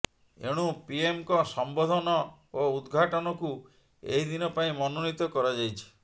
ଏଣୁ ପିଏମଙ୍କ ସମ୍ବୋଧନ ଓ ଉଦଘାଟନକୁ ଏହି ଦିନ ପାଇଁ ମନୋନୀତ କରାଯାଇଛି